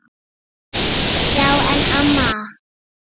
Já en amma.